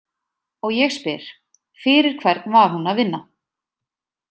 Og ég spyr: Fyrir hvern var hún að vinna?